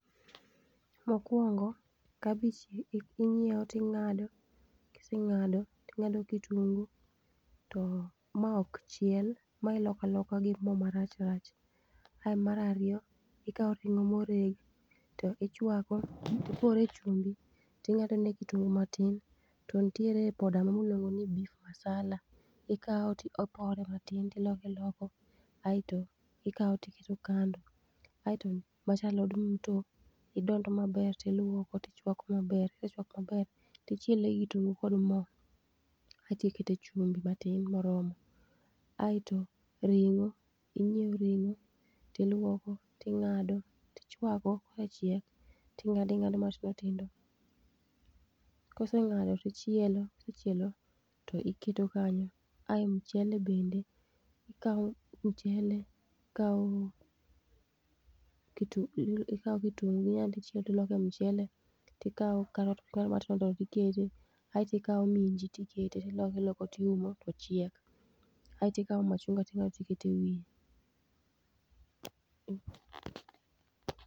Mokuongo kabich inyieo to ing'ado, kiseng'ado ting'ado kitungu to ma ok chiel ma iloko aloka gi mo marach rach. Ae mar arito ikao ring'o ma oregi to ichwako tipore chumbi ting'ado ne kitungu matin, to nitiere poda moro miluongo ni beef masala, ikao to ipore matin to iloko iloko aeto ikao to iketo kando. Aeto macha alod mto idondo maber, tiluoko tichwako maber, kisechwako maber, tichiele gi kitungu kod mo aeto ikete chumbi matin moromo. Aeto ring'o inyieo ring'o tiluoko ting'ado, tichwako, kosechiek to ing'ado ing'ado matindo tindo, kiseng'ado tichielo kisecchielo tiketo kanyo. Ae mchele bende, ikao mchele ikao kitungu lu ikao kitungu aeto ichielo godo mchele, tikao carrot ting'ado matindo tindo tikete aeto ikao minji tikete tiloko iloko tiumo to chiek. Aeto ikao machunga ting'ado tikete e wiye.